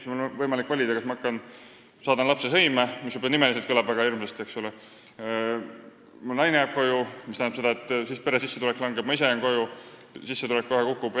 Mul on võimalik valida, kas ma saadan lapse sõime – mis juba nime poolest kõlab väga hirmsalt –, mu naine jääb koju, mis tähendab seda, et pere sissetulek langeb, või ma ise jään koju ja pere sissetulek kohe kukub.